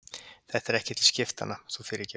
Þetta er ekki til skiptanna, þú fyrirgefur.